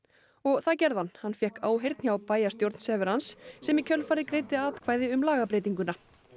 og það gerði hann hann fékk áheyrn hjá bæjarstjórn sem í kjölfarið greiddi atkvæði um lagabreytinguna